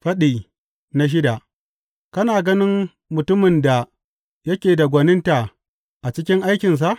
Faɗi shida Kana ganin mutumin da yake da gwaninta a cikin aikinsa?